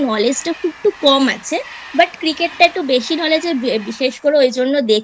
Knowledge টা খুব একটু কম আছে Cricket টা একটু বেশি Knowledge বিশেষ করে ওই জন্য দেখি